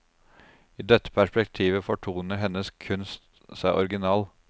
I dette perspektivet fortoner hennes kunst seg original.